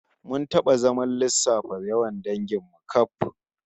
Mun taba zaman lissafa yawan dangin mu kaf